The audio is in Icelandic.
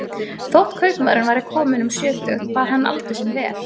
Þótt kaupmaðurinn væri kominn um sjötugt bar hann aldur sinn vel.